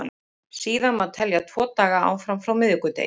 Síðan má telja tvo daga áfram frá miðvikudegi.